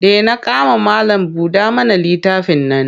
Dena kama malam-buɗa-mana-littafin nan.